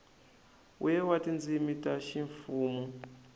we wa tindzimi ta ximfumu